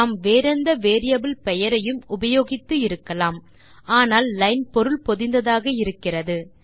நாம் வேறெந்த வேரியபிள் பெயரையும் உபயோகித்து இருக்கலாம் ஆனால் லைன் பொருள் பொதிந்ததாக இருக்கிறது